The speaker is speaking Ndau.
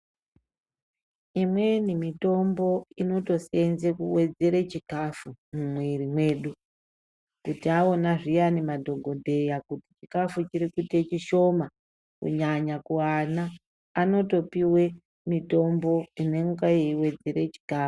Imweni mitombo inotoseenze kuwedzere chikafu mumwiri medu kuti taona zviyani madhogodheya kuti chikafu chirikuita chishoma, kunyanya kuana anotopiwe mitombo inenge yeiwedzere chikafu.